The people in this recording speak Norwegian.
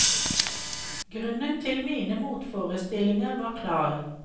Grunnen til mine motforestillinger var klar.